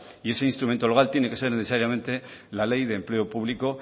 y ese instrumento legal tiene que ser necesariamente la ley de empleo público